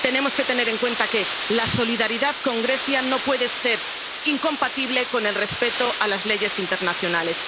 Tenemos que tener en cuenta que la solidaridad con Grecia no puede ser incompatible con el respeto a las leyes internacionales.